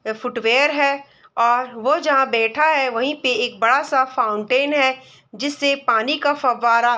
ये फुटवियर है और वो जहां बैठा है वहीं पे एक बड़ा सा फाउंटेन है जिससे पानी का फवारा --